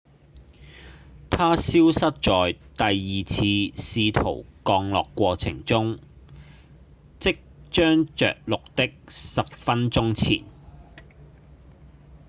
它消失在第二次試圖降落過程中即將著陸的十分鐘前